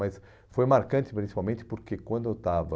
Mas foi marcante, principalmente, porque quando eu estava...